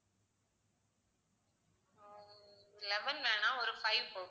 eleven வேணா ஒரு five போதும்